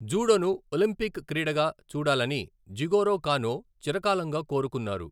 జూడోను Olympic క్రీడగా చూడాలని Jigoro Kano చిరకాలంగా కోరుకున్నారు.